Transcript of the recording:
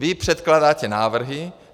Vy předkládáte návrhy.